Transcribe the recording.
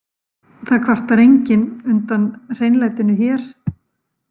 Það kvartar enginn undan hreinlætinu hér.